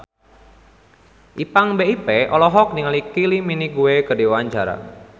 Ipank BIP olohok ningali Kylie Minogue keur diwawancara